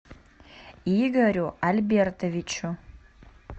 игорю альбертовичу